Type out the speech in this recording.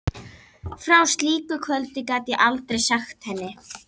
Frá slíku kvöldi get ég aldrei sagt henni.